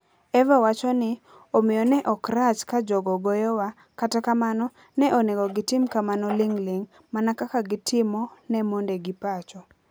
Eva wacho ni: "Omiyo, ne ok rach ka jogo goyowa, kata kamano, ne onego gitim kamano ling'ling ', mana kaka gitimo ne mondegi pacho.